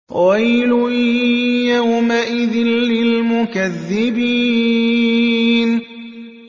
وَيْلٌ يَوْمَئِذٍ لِّلْمُكَذِّبِينَ